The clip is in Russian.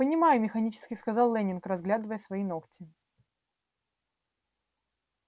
понимаю механически сказал лэннинг разглядывая свои ногти